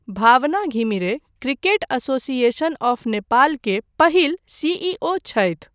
भावना Ghimire cricket association of Nepal के पहिल सीईओ छथि।